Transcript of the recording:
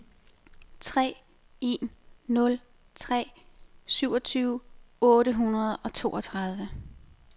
tre en nul tre syvogtyve otte hundrede og toogtredive